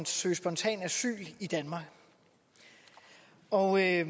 søge spontant asyl i danmark og jeg